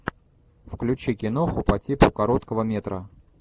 включи киноху по типу короткого метра